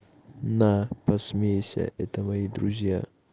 на посмейся это мои друзья